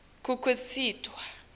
kukhicitwa